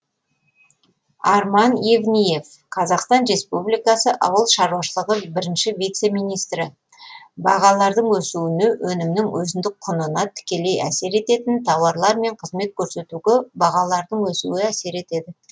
арман евниев қазақстан республикасы ауыл шаруашылығы бірінші вице министрі бағалардың өсуіне өнімнің өзіндік құнына тікелей әсер ететін тауарлар мен қызмет көрсетуге бағалардың өсуі әсер етеді